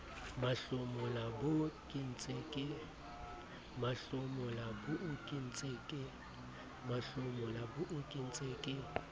mahlomola boo ke ntseng ke